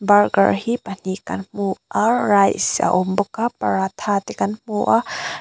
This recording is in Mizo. burger hi pahnih kan hmu a rice a awm bawk a paratha te kan hmu a--